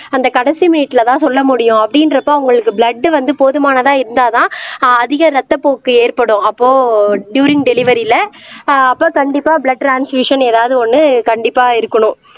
அந்த கடைசி மினிட்லதான் சொல்ல முடியும் அப்படின்றப்ப அவங்களுக்கு பிளட் வந்து போதுமானதா இருந்தாதான் ஆஹ் அதிக ரத்தப்போக்கு ஏற்படும் அப்போ டூரிங் டெலிவரில ஆஹ் அப்போ கண்டிப்பா பிளட் ட்ரான்சிசன் ஏதாவது ஒண்ணு கண்டிப்பா இருக்கணும்